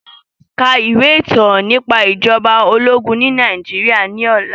Ka ìwé ìtàn nípa ìjọba ológun ní Nàìjíríà ní ọ̀la